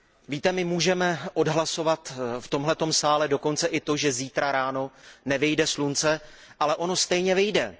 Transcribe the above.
Víte, my můžeme odhlasovat v tomto sále dokonce i to, že zítra ráno nevyjde slunce, ale ono stejně vyjde.